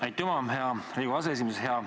Aitüma, hea Riigikogu aseesimees!